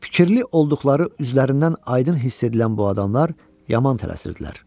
Fikirli olduqları üzlərindən aydın hiss edilən bu adamlar yaman tələsirdilər.